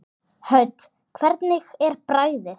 Hödd: Hvernig er bragðið?